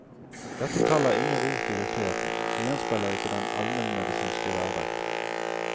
Dette tallet har ingen rot i virkeligheten, og gjenspeiler ikke den almenmedisinske hverdag.